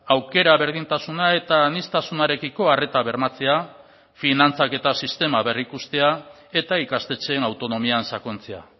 aukera berdintasuna eta aniztasunarekiko arreta bermatzea finantzaketa sistema berrikustea eta ikastetxeen autonomian sakontzea